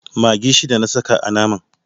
Maggi shida na saka a naman.